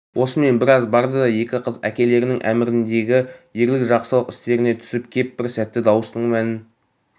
осымен біраз барды да екі қыз әкелерінің әміріндегі ерлік жақсылық істеріне түсіп кеп бір сәтте дауыстың мәнін